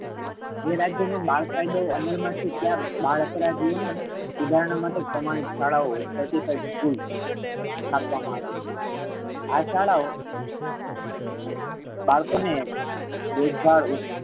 જે રાજ્ય મા બાળ કાયદો અમલ માં છે. ત્યા બાળ અપરાધીઓ ને સુધારણા માટે પ્રામાણિક શાળાઓ certified school મા રાખવામા આવે છે આ શાળાઓ બાળકોને દેખભાળ